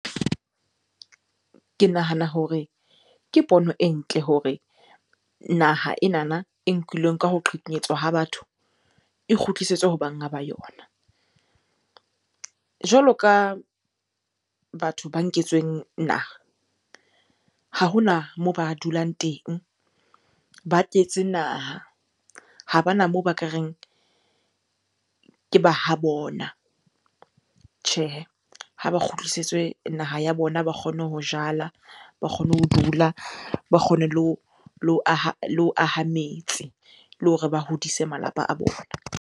Ke nahana hore ke pono e ntle hore naha enana e nkilweng ka ho qhekanyetswa ha batho, e kgutlisetswe ho banga ba yona. Jwalo ka batho ba nketsweng naha, ha hona moo ba dulang teng, ba tletse naha, ha bana moo ba ka reng ke ba ha bona. Tjhehe, ha ba kgutlisitswe naha ya bona, ba kgone ho jala, ba kgone ho dula, ba kgone le ho aha metse, le hore ba hodise malapa a bona.